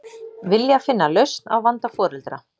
Vilja finna lausn á vanda foreldra